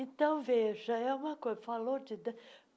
Então, veja, é uma coisa. falou de